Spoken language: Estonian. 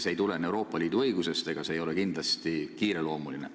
See ei tulene Euroopa Liidu õigusest ja see ei ole kindlasti kiireloomuline.